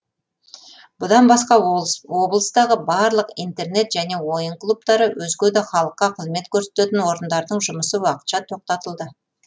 бұдан басқа облыстағы барлық интернет және ойын клубтары өзге де халыққа қызмет көрсететін орындардың жұмысы уақытша тоқтатылды